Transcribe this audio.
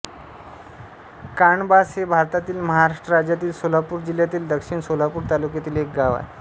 काणबास हे भारतातील महाराष्ट्र राज्यातील सोलापूर जिल्ह्यातील दक्षिण सोलापूर तालुक्यातील एक गाव आहे